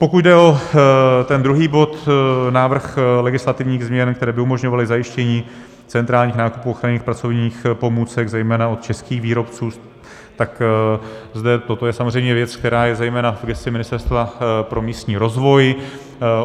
Pokud jde o ten druhý bod, návrh legislativních změn, které by umožňovaly zajištění centrálních nákupů ochranných pracovních pomůcek zejména od českých výrobců, tak zde toto je samozřejmě věc, která je zejména v gesci Ministerstva pro místní rozvoj.